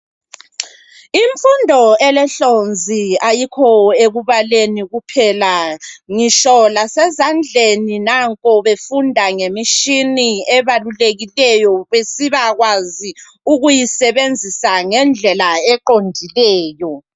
Imfundo elehlonzi ayikho ekubaleni kuphela ngitsho lasezandleni nanku befunda ngemitshina ebalulekileyo besiba kwazi ukuyisebenzisa ngendlela eqondileyo.